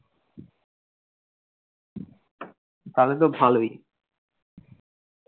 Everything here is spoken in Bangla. তালে তো ভালই।